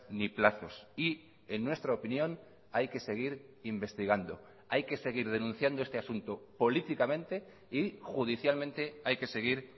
ni plazos y en nuestra opinión hay que seguir investigando hay que seguir denunciando este asunto políticamente y judicialmente hay que seguir